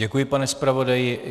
Děkuji, pane zpravodaji.